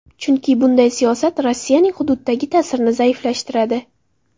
Chunki bunday siyosat Rossiyaning hududdagi ta’sirini zaiflashtiradi.